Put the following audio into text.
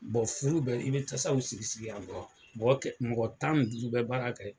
furu bɛ i bɛ tasaw sigi sigi yan bɔ, mɔgɔ kɛ mɔgɔ tan ni duuru bɛ baara kɛ